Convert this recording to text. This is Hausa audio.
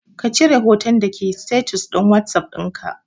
kacire hotan dake status din whatsapp dinka